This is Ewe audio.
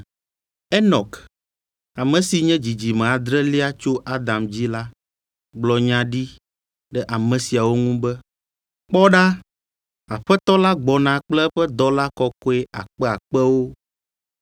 Enɔk, ame si nye dzidzime adrelia tso Adam dzi la gblɔ nya ɖi ɖe ame siawo ŋu be, “Kpɔ ɖa, Aƒetɔ la gbɔna kple eƒe dɔla kɔkɔe akpeakpewo,